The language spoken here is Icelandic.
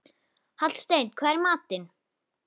Hallsteinn, hvað er í matinn?